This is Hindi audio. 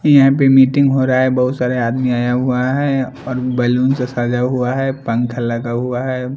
यहाँ पे मीटिंग होरा हैं बहुत सारे आदमी आया हुआ हैं और बैलून से सजा हुआ हैं पंखा लगा हुआ हैं।